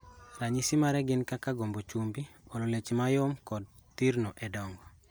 Ranyisi mage gin kaka gombo chumbi, olo, leche mayom yom kod thirno e dongo.